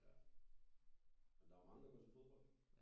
Ja men der er jo mange der går til fodbold